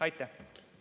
Aitäh!